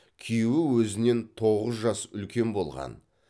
күйеуі өзінен тоғыз жас үлкен болған